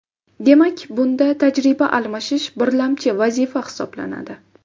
Demak, bunda tajriba almashish birlamchi vazifa hisoblanadi.